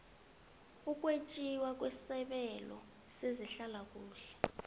ukwetjiwa kwesabelo sehlalakuhle